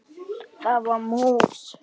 Það var mús!